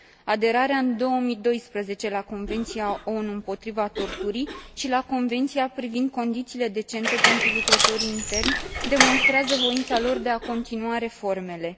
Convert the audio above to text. Aderarea în 2012 la Convenția ONU împotriva torturii și la Convenția privind condițiile decente pentru lucrătorii interni demonstrează voința lor de a continua reformele.